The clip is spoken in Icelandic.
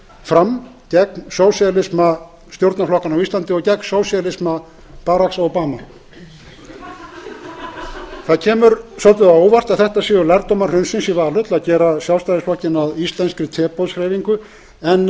fram gegn sósíalisma stjórnarflokkanna á íslandi og gegn sósíalisma baracks obamas það kemur svolítið á óvart að þetta séu lærdómar hrunsins í valhöll að gera sjálfstæðisflokkinn að íslenskri teboðshreyfingu en það er